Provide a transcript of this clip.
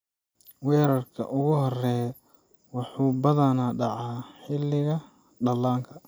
Weerarka ugu horreeya wuxuu badanaa dhacaa xilliga dhallaanka.